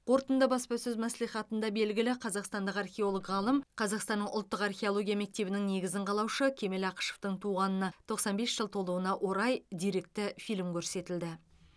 қорытынды баспасөз мәслихатында белгілі қазақстандық археолог ғалым қазақстанның ұлттық археология мектебінің негізін қалаушы кемел ақышевтың туғанына тоқсан бес жыл толуына орай деректі фильм көрсетілді